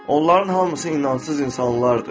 Onların hamısı inancsız insanlardır.